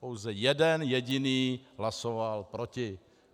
Pouze jeden jediný hlasoval proti.